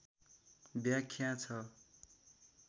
व्याख्या छ